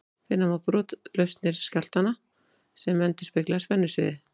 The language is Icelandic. Finna má brotlausnir skjálftanna sem endurspegla spennusviðið.